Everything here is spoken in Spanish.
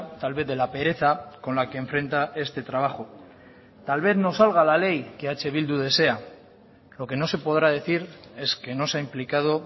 tal vez de la pereza con la que enfrenta este trabajo tal vez no salga la ley que eh bildu desea lo que no se podrá decir es que no se ha implicado